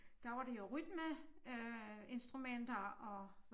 Der var det jo rytmeinstrumenter og